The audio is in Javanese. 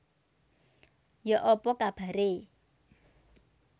Yok apa kabare